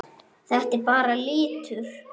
Þetta er bara litur.